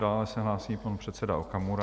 Dále se hlásí pan předseda Okamura.